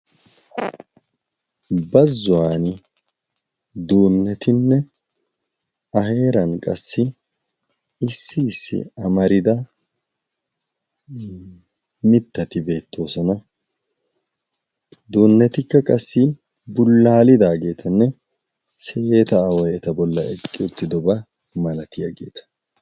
bazzuwan duunnetinne a heeran qassi issi issi amarida mittati beettoosana duunnetikka qassi bullaalidaageetanne seyeeta aaway eta bolla eqqi uttidobaa malatiyaggeeta